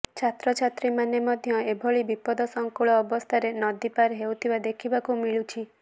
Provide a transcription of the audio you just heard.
ଛାତ୍ରଛାତ୍ରୀ ମାନେ ମଧ୍ୟ ଏଭଳି ବିପଦ ସଙ୍କୁଳ ଅବସ୍ଥାରେ ନଦୀ ପାର ହେଉଥିବା ଦେଖିବାକୁ ମିଳୁଛି